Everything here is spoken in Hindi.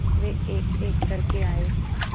वे एकएक करके आए